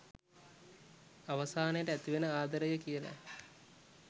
අවසානයට ඇතිවෙන ආදරය කියලා.